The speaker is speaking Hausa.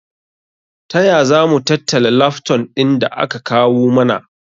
Taya zamu tattala lafton ɗin da aka kawu mana?